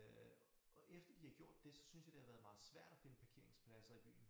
Øh efter de har gjort det så synes jeg det har været meget svært at finde parkeringspladser i byen